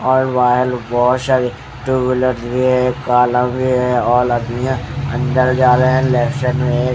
और वायल बहुत सारी टू व्हीलर्स भी हैं लव भी हैं औरत भी हैं अंदर जारे हैं लहसन भी --